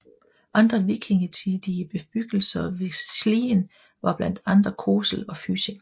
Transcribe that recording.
Andre vikingetidige bebyggelser ved Slien var blandt andre Kosel og Fysing